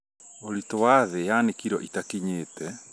ũritũ wa thĩ yaani kiro itakinyĩte